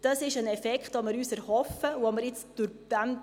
Das ist ein Effekt, den wir uns erhoffen.